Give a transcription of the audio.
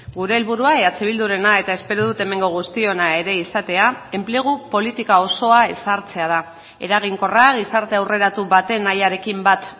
gure helburua eh bildurena eta espero dut hemengo guztiona ere izatea enplegu politika osoa ezartzea da eraginkorra gizarte aurreratu baten nahiarekin bat